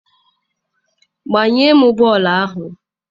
gbanye m bọọlụ ahụ!